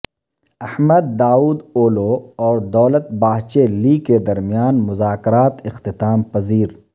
Ahmad Davutoglu اور Devlet Bahceli کے درمیان مذاکرات اختتام پذیر